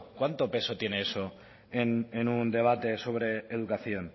cuánto peso tiene eso en un debate sobre educación